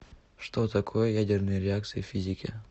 что такое ядерные реакции в физике